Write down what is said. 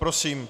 Prosím.